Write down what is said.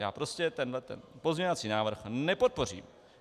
Já prostě tenhle pozměňovací návrh nepodpořím.